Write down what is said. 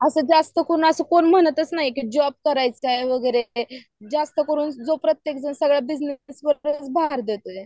आता जास्त करून असं कोणी म्हणतच नाहीत किती जॉब करायचा आहे वगैरे. प्रत्येक जण आता बिजनेस वारे भार देतोय